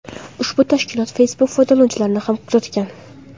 Ushbu tashkilot Facebook foydalanuvchilarini ham kuzatgan.